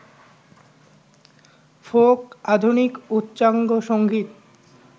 folk, আধুনিক, উচ্চাঙ্গসংগীত,